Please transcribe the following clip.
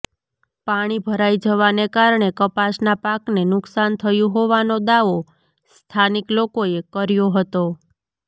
પાણી ભરાઈ જવાને કારણે કપાસ નાં પાકને નુકશાન થયુ હોવાનો દાવો સ્થાનિક લોકોએ કર્યો હતો